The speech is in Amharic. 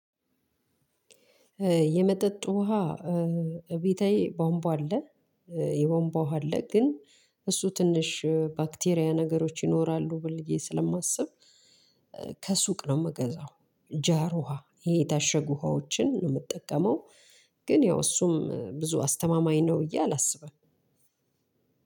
የመጠጥ ውሃ እቤታዬ ቧምቧ አለ የቧምቧ ውሃ አለ ግን እሱ ትንሽ ባክቴሪያ ነገሮች ይኖራሉ ብዬ ስለማስብ። ከሱቅ ነው የምገዛው ጃራ ውሃ ይሄ የታሸገ ውሃወችን ነው የምንጠቀመው። ግን ያው እሱም ብዙ አስተማማኝ ነው ብዬ አላስብም።